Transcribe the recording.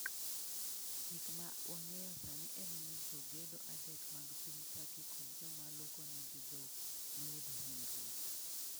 Gik ma wang'eyo sani en ni jogedo adek mag piny Turkey kod joma lokonegi dhok noyudo hinyruok' .